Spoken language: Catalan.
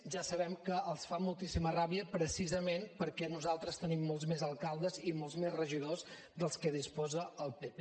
ja sabem que els fa moltíssima ràbia precisament perquè nosaltres tenim molts més alcaldes i molts més regidors dels que disposa el pp